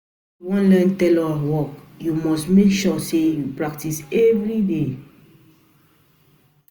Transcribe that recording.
wan learn tailor work, you must make sure sey you practice everyday.